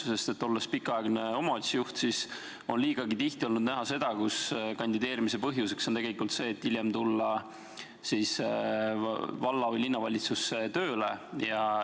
Olles olnud pikaaegne omavalitsuse juht, olen liigagi tihti näinud seda, et kandideerimise põhjuseks on tegelikult see, et hiljem tulla valla- või linnavalitsusse tööle.